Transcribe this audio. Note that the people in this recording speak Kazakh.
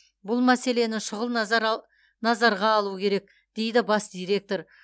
бұл мәселені шұғыл назарға алу керек дейді бас директор